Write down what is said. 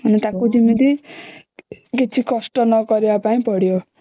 ତାକୁ ଯେମିତି କିଛି କଷ୍ଟ ନକରିବା ପାଇଁ ପଡିବ